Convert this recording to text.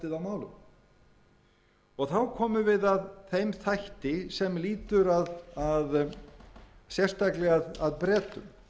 á málum þá komum við að þeim þætti sem lýtur sérstaklega að bretum